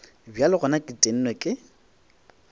bjale gona ke tennwe ke